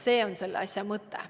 See on selle asja mõte.